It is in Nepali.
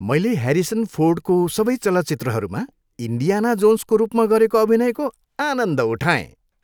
मैले ह्यारिसन फोर्डको सबै चलचित्रहरूमा इन्डियाना जोन्सको रूपमा गरेको अभिनयको आनन्द उठाएँ।